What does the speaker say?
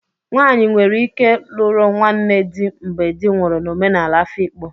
Nwanyi nwere ike luru nwanne di mgbe di nwuru n'omenala Afikpo,